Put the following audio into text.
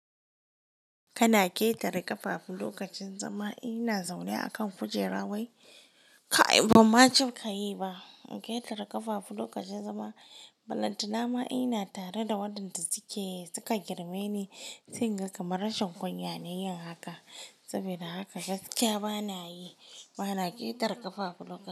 Kana ƙetare ƙafafu lokacin zama. In ina zaune a kan kujera wai. Kai ban ma cinka yi ba. In ƙetare ƙafafu lokacin zama, balanta nama ina tare da waɗanda suke suka girme ni. Singa kamar rashin kunya ne yin haka. Saboda haka gaskiya bana yi. Bana ƙetare ƙafafu lokacin.